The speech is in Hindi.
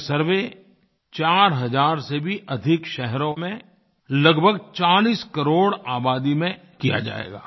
ये सर्वे चार हज़ार से भी अधिक शहरों में लगभग चालीस 40 करोड़ आबादी में किया जाएगा